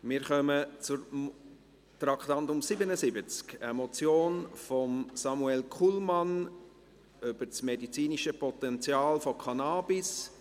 Wir kommen zum Traktandum 77, einer Motion von Samuel Kullmann über das medizinische Potenzial von Cannabis.